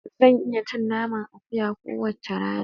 Zan iya cin naman akuya kowace rana.